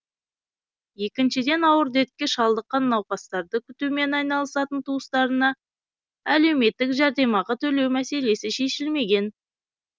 екіншіден ауыр дертке шалдыққан науқастарды күтумен айналысатын туыстарына әлеуметтік жәрдемақы төлеу мәселесі шешілмеген